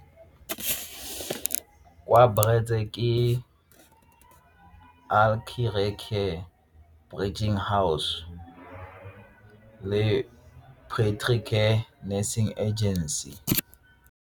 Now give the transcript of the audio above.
Wa house le care nursing agency.